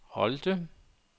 Holte